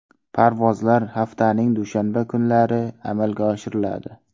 Parvozlar haftaning dushanba kunlari amalga oshiriladi.